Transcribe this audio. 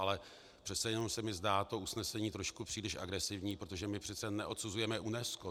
Ale přece jenom se mi zdá to usnesení trošku příliš agresivní, protože my přece neodsuzujeme UNESCO.